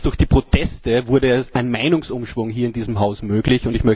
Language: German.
Erst durch die Proteste wurde ein Meinungsumschwung hier in diesem Haus möglich.